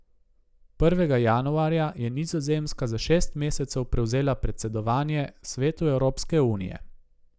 Prvega januarja je Nizozemska za šest mesecev prevzela predsedovanje svetu Evropske unije.